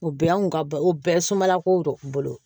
O bɛɛ y'an kun ka o bɛɛ sumala ko bolo